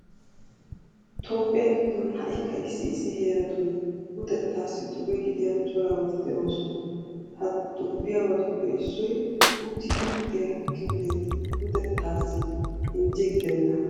Toophphiya giddon ha"ikka issi issi heeratun luxettaassi cube gidiya cirabati de'oosona. Ha xubbiyabatuppe issoy uttidi luxiya kifileti luxettaassi injje gidennaagaa.